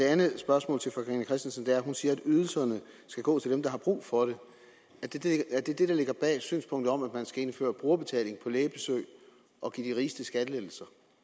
andet spørgsmål til fru carina christensen hun siger at ydelserne skal gå til dem der har brug for det er det det der ligger bag synspunktet om at man skal indføre brugerbetaling på lægebesøg og give de rigeste skattelettelser